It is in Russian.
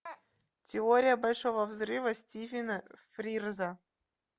теория большого взрыва стивена фрирза